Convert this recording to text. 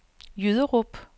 Jyderup